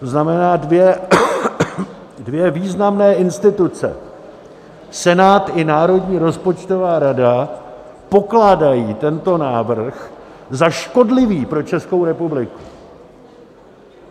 To znamená, dvě významné instituce, Senát i Národní rozpočtová rada, pokládají tento návrh za škodlivý pro Českou republiku.